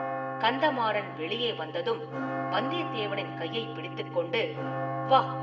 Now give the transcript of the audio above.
கந்தமாறன் வெளியே வந்ததும் வந்தியத்தேவனின் கையைப் பிடித்துக் கொண்டு, “வா!